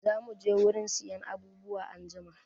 Zamu je wurin siyan abubuwa anjima.